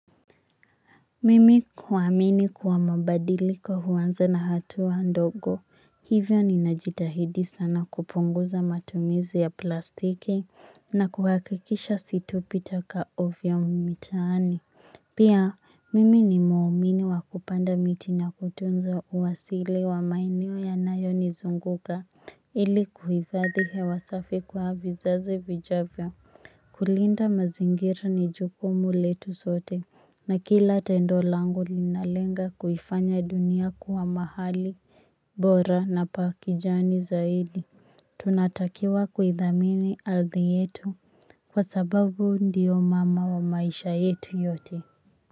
Mimi huamini kuwa mabadiliko huanza na hatua ndogo hivyo ninajitahidi sana kupunguza matumizi ya plastiki na kuhakikisha situpi taka ovyo mitaani. Pia mimi ni muumini wa kupanda miti na kutunza uasilia wa mazingira yanayonizunguka ili kuhifadhi hewa safi kwa vizazi vijavyo. Kulinda mazingira ni jukumu letu sote na kila tendo langu linalenga kuifanya dunia kuwa mahali bora na pa kijani zaidi. Tunatakiwa kuithamini ardhi yetu kwa sababu ndiyo mama wa maisha yetu yote.